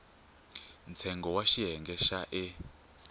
ntsengo wa xiyenge xa e